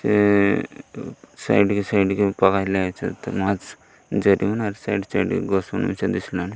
ଏ ସାଇଡି କି ସାଇଡି କି କି ପଘାଇଲା ଅଛତ୍ ମଛ୍ ଜେଡୁନ୍ ଆର୍ ସାଇଡ ସାଇଡ କୁ ଗଛ୍ ମାନେ ଅଛନ୍ତି ସାଡେ।